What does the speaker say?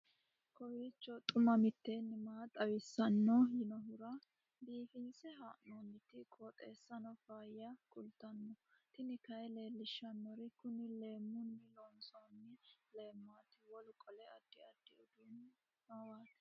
kowiicho xuma mtini maa xawissanno yaannohura biifinse haa'noonniti qooxeessano faayya kultanno tini kayi leellishshannori kuni leemmunni loonsoonni leemmati wolu qole addi addi uduunni noowaati